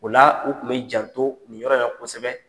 O la, o kun bɛ janto nin yɔrɔ in la kosɛbɛ.